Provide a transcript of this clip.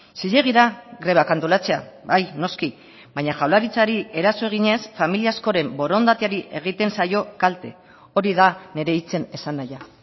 zilegi da grebak antolatzea bai noski baina jaurlaritzari eraso eginez familia askoren borondateari egiten zaio kalte hori da nire hitzen esanahia